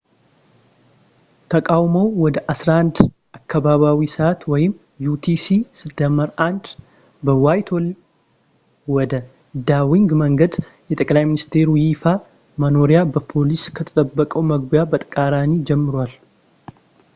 ተቃውሞው ወደ 11፡00 አካባቢያዊ ሰዕት utc+1 በዋይትሆል ወደ ዳውኒንግ መንገድ፣ የጠቅላይ ሚኒስተሩ ይፋ መኖሪያ በፖሊስ ከተጠበቀው መግቢያ በተቃራኒ ጀምሯል